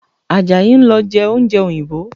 Àjàyí ń lọ jẹ oúnjẹ òyìnbó